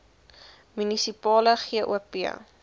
munisipale gop